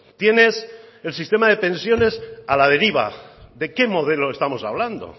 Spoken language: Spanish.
tienes el sistema de pensiones a la deriva de qué modelo estamos hablando